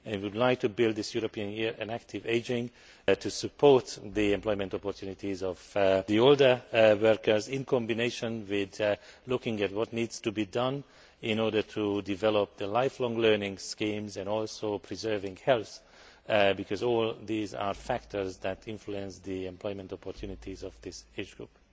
We would like to build this European Year on Active Ageing to support the employment opportunities of older workers, in combination with looking at what needs to be done in order to develop lifelong learning schemes and to preserve health, because all these are factors that influence the employment opportunities of this age group.